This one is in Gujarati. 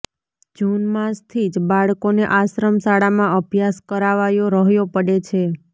જુન માસથી જ બાળકોને આશ્રમ શાળામાં અભ્યાસ કરાવાયો રહ્યો પડે છે